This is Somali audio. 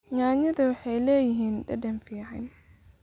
Yaanyada waxay leeyihiin dhadhan fiican.